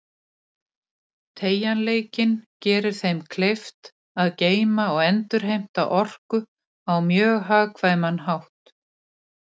Teygjanleikinn gerir þeim kleift að geyma og endurheimta orku á mjög hagkvæman hátt.